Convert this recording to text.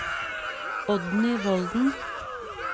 Oddny Volden